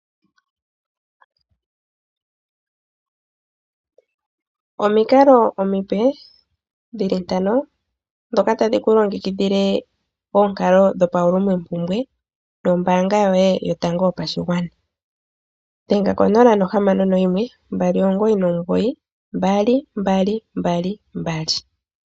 Omikalo omipe dhi li ntano ndhoka tadhi ku longikidhile oonkalo dhopauulumompumbwe noombaanga yoye yotango yopashigwana dhenga ko 0612992222.